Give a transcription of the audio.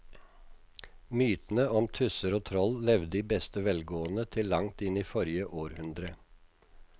Mytene om tusser og troll levde i beste velgående til langt inn i forrige århundre.